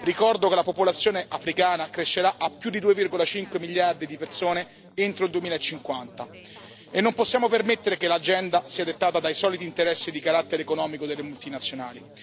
Ricordo che la popolazione africana crescerà a più di 2,5 miliardi di persone entro il 2050, e non possiamo permettere che l'agenda sia dettata dai soliti interessi di carattere economico delle multinazionali.